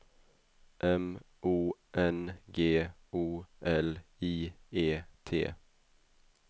M O N G O L I E T